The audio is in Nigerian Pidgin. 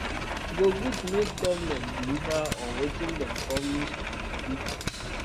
e good make government deliver on wetin dem promise to di people